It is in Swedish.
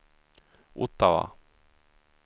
Ottawa